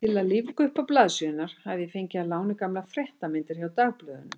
Til að lífga uppá blaðsíðurnar hafði ég fengið að láni gamlar fréttamyndir hjá dagblöðunum.